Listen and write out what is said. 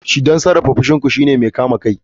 Don sarrafa fushin ku shine kame kai.